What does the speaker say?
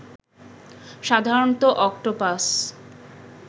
সাধারণত অক্টোপাস